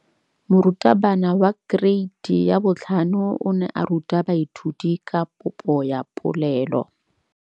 Moratabana wa kereiti ya 5 o ne a ruta baithuti ka popô ya polelô.